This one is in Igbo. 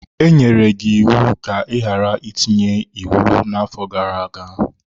E nyere gị iwu ka ị ghara itinye iwu n'afọ gara aga!